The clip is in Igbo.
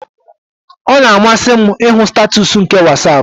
Ọ na-amasị m ịhụ statuus nke WhatsApp